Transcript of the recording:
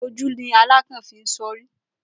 Oju ni alakan fi so ori.